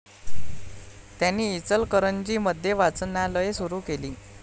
त्यांनी इचलकरंजी मध्ये वाचनालये सुरु केली.